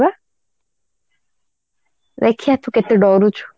ଦେଖିବା ତୁ କେତେ ଡରୁଛୁ